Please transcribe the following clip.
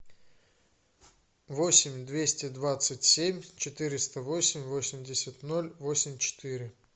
восемь двести двадцать семь четыреста восемь восемьдесят ноль восемь четыре